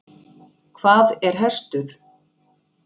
Hvað er hestur?